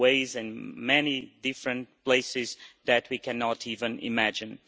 in many different places that we cannot even imagine.